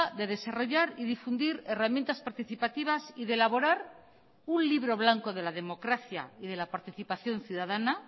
de desarrollar y difundir herramientas participativas y de elaborar un libro blanco de la democracia y de la participación ciudadana